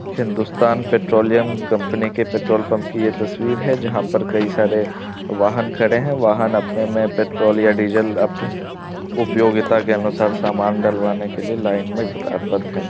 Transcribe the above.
Hindustan petroleum company के petrol pump की ये तस्वीर है। जहाँ पर कई सारे वाहन खड़े है। वाहन अपने मे पेट्रोल या डिजेल अपने उपयोगिता के अनुसार सामान डलवाने के लिए लाइन मे कतारपद है।